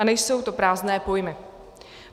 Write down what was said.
A nejsou to prázdné pojmy.